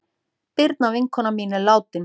Birna vinkona mín er látin.